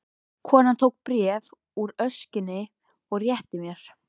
Konan tók bréf úr öskjunni og rétti mér.